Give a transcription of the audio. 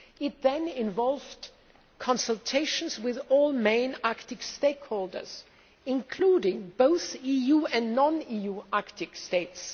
This involved consultations with all main Arctic stakeholders, including both EU and non EU Arctic states.